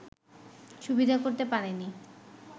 সুবিধা করতে পারেনি